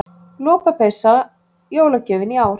Lopapeysa jólagjöfin í ár